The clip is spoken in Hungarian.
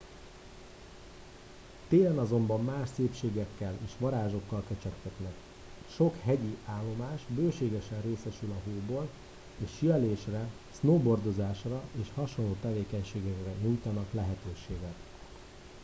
télen azonban más szépségekkel és varázsokkal kecsegtetnek sok hegyi állomás bőségesen részesül a hóból és síelésre snowboardozásra és hasonló tevékenységekre nyújtanak lehetőséget